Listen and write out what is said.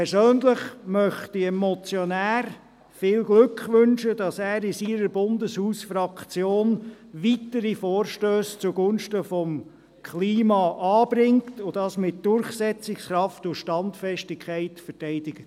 Persönlich möchte ich dem Motionär viel Glück wünschen, dass er in seiner Bundeshausfraktion weitere Vorstösse zugunsten des Klimas einbringt und dies mit Durchsetzungskraft und Standfestigkeit verteidigt.